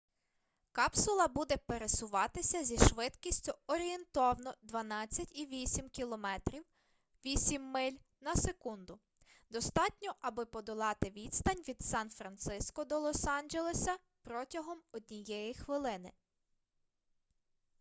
капсула буде пересуватися зі швидкістю орієнтовно 12,8 км 8 миль на секунду – достатньо аби подолати відстань від сан-франциско до лос-анджелеса протягом однієї хвилини